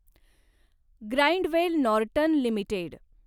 Grindwell Norton limited